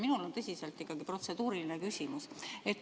Minul on ikkagi tõsiselt protseduuriline küsimus.